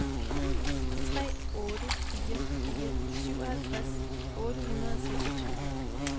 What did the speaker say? tre otte fire fire syvoghalvtreds otte hundrede og seksogtyve